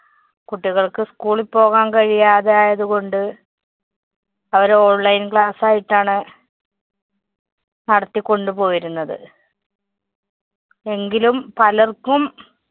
കുട്ടികള്‍ക്ക് school ല്‍ പോകാന്‍ കഴിയാതായത്കൊണ്ട് അവരു online class ആയിട്ടാണ് നടത്തിക്കൊണ്ടു പോയിരുന്നത്. എങ്കിലും പലര്‍ക്കും